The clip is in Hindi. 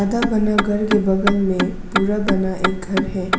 आधा बना घर के बगल में पूरा बना एक घर है।